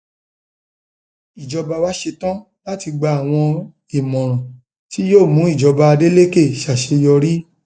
ìjọba wá ṣetán láti gba àwọn ìmọràn tí yóò mú ìjọba adeleke ṣàṣeyọrí